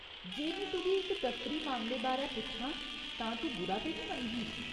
जे में तुगी इक दफ्तरी मामले बारै पुच्छां तां तूं बुरा ते निं मनगी ?